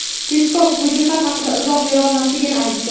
Peskov bu jihat haqida izoh berolmasligini aytdi.